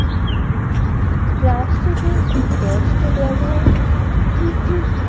প্লাস্টিকের দশটি ব্যবহার কি কি?